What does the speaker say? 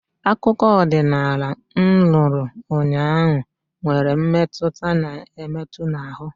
Akụkọ ọdịnala m nụrụ ụnyaahụ nwere mmetụta na-emetụ n'ahụ